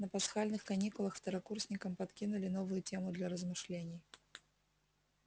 на пасхальных каникулах второкурсникам подкинули новую тему для размышлений